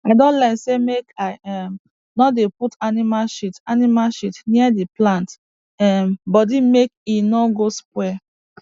i don learn say make i um no dey put animal shit animal shit near the plant um body make e no go spoil